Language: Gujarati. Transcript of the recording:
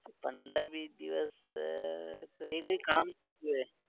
પંદર વીસ દિવસ તો એ કોઈ કામથી ગયો હોઈશ